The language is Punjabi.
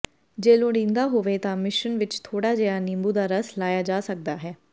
ਜੇ ਲੋੜੀਦਾ ਹੋਵੇ ਤਾਂ ਮਿਸ਼ਰਣ ਵਿਚ ਥੋੜਾ ਜਿਹਾ ਨਿੰਬੂ ਦਾ ਰਸ ਲਾਇਆ ਜਾ ਸਕਦਾ ਹੈ